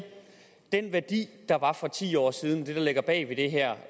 den værdi der var for ti år siden det der ligger bag det her